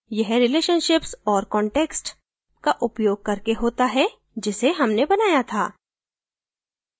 यह relationships और context का उपयोग करके होता है जिसे हमने बनाया था